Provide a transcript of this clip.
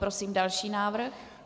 Prosím další návrh.